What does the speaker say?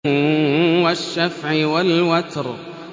وَالشَّفْعِ وَالْوَتْرِ